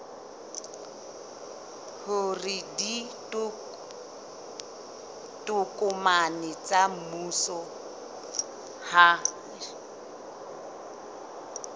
hore ditokomane tsa mmuso ha